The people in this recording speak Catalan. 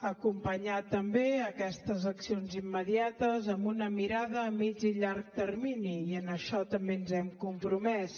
acompanyar també aquestes accions immediates amb una mirada a mitjà i llarg termini i en això també ens hi hem compromès